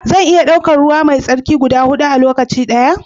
Zan iya daukar ruwa mai tsarki guda hudu a lokaci daya?